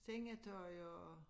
Sengetøj og